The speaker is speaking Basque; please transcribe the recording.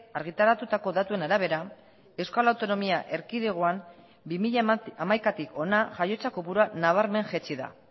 argitaratutako datuen arabera euskal autonomia erkidegoan bi mila hamaikatik hona jaiotza kopurua nabarmen jaitsi da